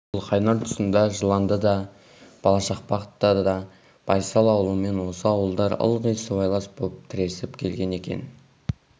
қызылқайнар тұсында жыландыда балашақпақта да байсал ауылымен осы ауылдар ылғи сыбайлас боп тіресіп келген екен